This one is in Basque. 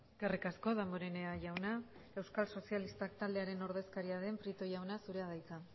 eskerrik asko damborenea jauna euskal sozialistak taldearen ordezkaria den prieto jauna zurea da hitza